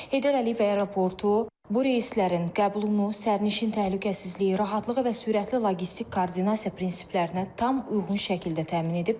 Heydər Əliyev Aeroportu bu reyslərin qəbulunu sərnişin təhlükəsizliyi, rahatlığı və sürətli logistik koordinasiya prinsiplərinə tam uyğun şəkildə təmin edib.